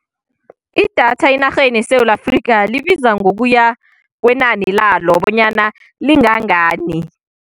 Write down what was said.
Idatha enarheni yeSewula Afrika libiza ngokuya kwenani lalo bonyana lingangani.